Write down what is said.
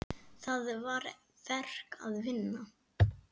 Það var verk að vinna.